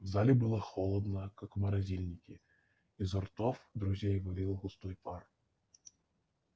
в зале было холодно как в морозильнике изо ртов друзей валил густой пар